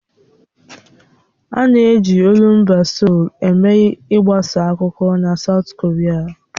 A na-eji olumba Seoul eme ị gbasa akụkọ na Saụt Koria.